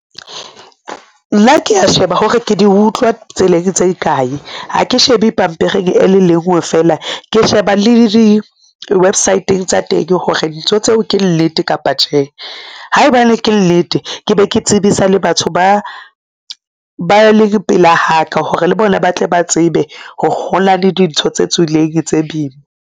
Nna ke a sheba hore ke di utlwa tseleng tse kae ha ke shebe pampiring e le lengwe fela ke sheba le di-website-ng tsa teng hore dintho tseo ke nnete kapa tjhe. Haebane ke nnete ke be ke tsebisa le batho ba ba le pela haka hore le bona ba tle ba tsebe ho na le dintho tse tswileng tse boima.